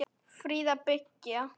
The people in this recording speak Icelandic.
Fríða byggð.